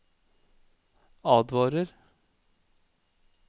advarer